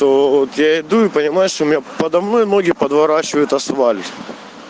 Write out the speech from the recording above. то вот я иду и понимаю что меня подомной ноги подворачивает асфальт